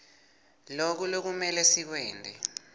loku kumele sikwente